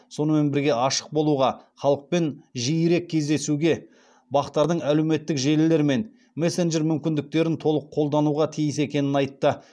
сонымен бірге ашық болуға халықпен жиірек кездесуге бақ тардың әлеуметтік желілер мен мессенджер мүмкіндіктерін толық қолдануға тиіс екенін айтты